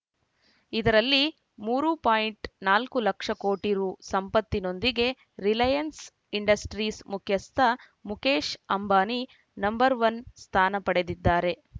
ಇದರಲ್ಲಿ ಮೂರು ಪಾಯಿಂಟ್ ನಾಲ್ಕು ಲಕ್ಷ ಕೋಟಿ ರು ಸಂಪತ್ತಿನೊಂದಿಗೆ ರಿಲಯನ್ಸ್‌ ಇಂಡಸ್ಟ್ರೀಸ್‌ ಮುಖ್ಯಸ್ಥ ಮುಕೇಶ್‌ ಅಂಬಾನಿ ನಂಬರ್ ಒನ್ ಸ್ಥಾನ ಪಡೆದಿದ್ದಾರೆ